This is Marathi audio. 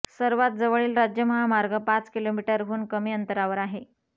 सर्वात जवळील राज्य महामार्ग पाच किलोमीटरहून कमी अंतरावर आहे